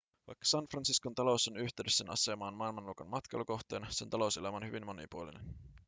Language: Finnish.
vaikka san franciscon talous on yhteydessä sen asemaan maailmanluokan matkailukohteena sen talouselämä on hyvin monipuolinen